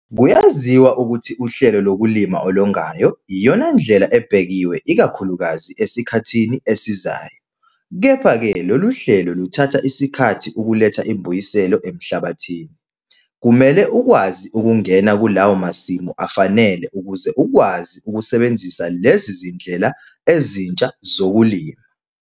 Kuyaziwa ukuthi uhlelo lokulima olongayo yiyona ndlela ebhekiwe ikakhulukazi esikhathini esizayo. Kepha-ke lolu hlelo luthatha isikhathi ukuletha imbuyiselo emhlabathini. Kumele ukwazi ukungena kulawo masimu afanele ukuze ukwazi ukusebenzisa lezi zindlela ezintsha zokulima.